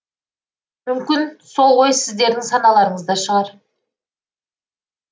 мүмкін сол ой сіздердің саналарыңызда шығар